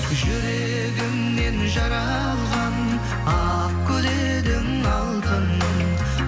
жүрегімнен жаралған ақ гүл едің алтыным